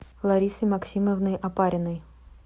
ларисой максимовной опариной